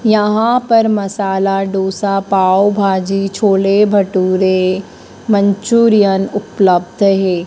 यहां पर मसाला डोसा पाव भाजी छोले भटूरे मंचूरियन उपलब्ध है।